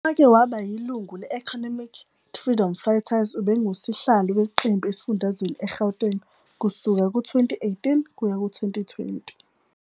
Owake waba yilungu le-Economic Freedom Fighters, ubenguSihlalo weqembu esifundazweni eGauteng kusuka ngo-2018 kuya ku-2020.